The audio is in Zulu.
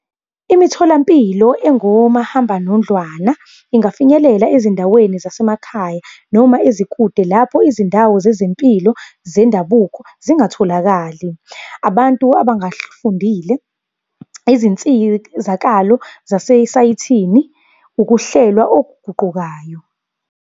Imitholampilo engomahambanondlwana, ingafinyeleli ezindaweni zasemakhaya noma ezikude lapho izindawo zezempilo zendabuko zingatholakali. Abantu abangafundile, izinsizakalo zase-site-ini, ukuhlelwa okuguqukayo.